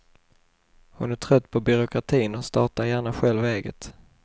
Hon är trött på byråkratin och startar gärna själv eget.